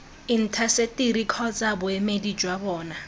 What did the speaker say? intaseteri kgotsa boemedi jwa bona